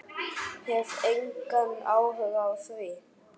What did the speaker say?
Hef engan áhuga á því.